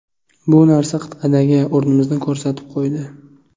Bu narsa qit’adagi o‘rnimizni ko‘rsatib qo‘ydi.